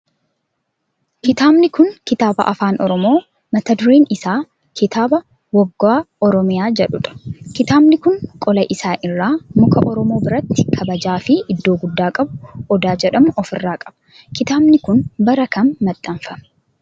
Kitaabni kun kitaaba afaan oromoo mata dureen isaa kitaaba woggaa oromiyaa jedhudha. kitaabni kun qola isaa irraa muka oromoo biratti kabajaa fi iddoo guddaa qabu odaa jedhamu of irraa qaba. kitaabni kun bara kam maxxanfame?